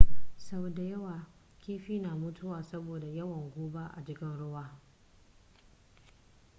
sau da yawa kiifi na mutuwa saboda yawan guba a cikin ruwa